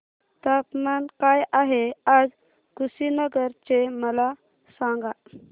तापमान काय आहे आज कुशीनगर चे मला सांगा